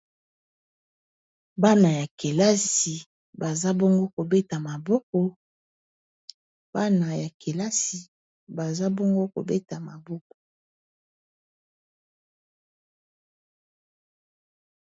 Bana ya kelasi baza bongo kobeta maboko.